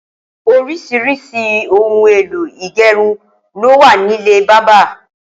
Óriṣiriṣi óoùn éló igẹrún ló wà nilé bàbà